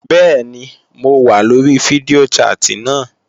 Bẹ́ẹ̀ni mo wà lóri fídíò chat náà